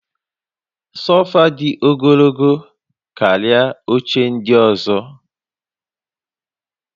Sofa dị ogologo karịa oche ndị ọzọ